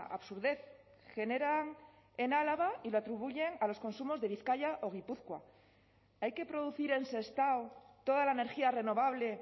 absurdez genera en álava y lo atribuyen a los consumos de bizkaia o gipuzkoa hay que producir en sestao toda la energía renovable